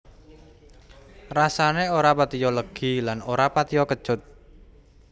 Rasané ora patiya legi lan ora patiya kecut